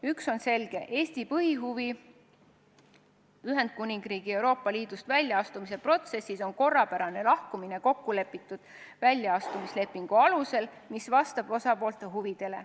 Üks on selge: Eesti põhihuvi Ühendkuningriigi Euroopa Liidust väljaastumise protsessis on korrapärane lahkumine kokkulepitud väljaastumislepingu alusel, mis vastab osapoolte huvidele.